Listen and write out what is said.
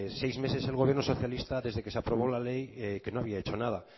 seis meses el gobierno socialista desde que se aprobó la ley que no había hecho nada